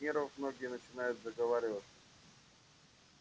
от нервов многие начинают заговариваться